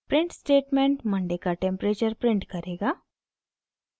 print statement Monday का temperature print करेगा